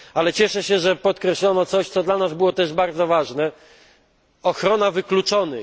Cieszę się, że podkreślono coś, co dla nas było też bardzo ważne ochronę wykluczonych.